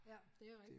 Ja det rigtigt